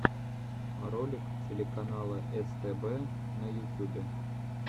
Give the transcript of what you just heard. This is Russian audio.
ролик телеканала стб на ютюбе